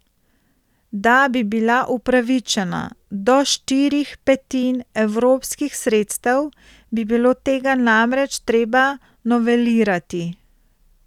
Da bi bila upravičena do štirih petin evropskih sredstev, bi bilo tega namreč treba novelirati.